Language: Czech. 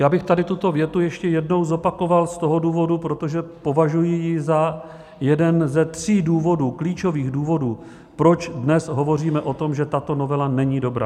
Já bych tady tuto větu ještě jednou zopakoval z toho důvodu, protože považuji ji za jeden ze tří důvodů, klíčových důvodů, proč dnes hovoříme o tom, že tato novela není dobrá.